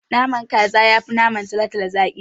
Naman kaza yafi naman talotalo zaki.